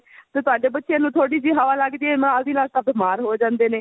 ਤੇ ਤੁਹਾਡੇ ਬੱਚੇ ਨੂੰ ਥੋੜੀ ਜਿਹੀ ਹਵਾ ਲੱਗ ਜੇ ਨਾਲ ਦੀ ਨਾਲ ਤਾਂ ਬੀਮਾਰ ਹੋ ਜਾਂਦੇ ਨੇ